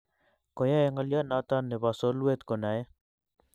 Koyei ngolyonito nebo solwet konae